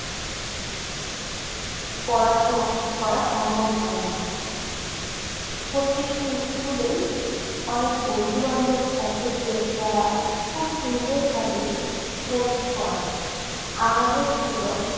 পড়াশোনা করা সম্ভব হয়না। প্রত্যেকটি school এই অনেক বন্ধু বান্ধব থাকে যে, যারা খুব সুন্দরভাবে help করে। আমারও ছিল।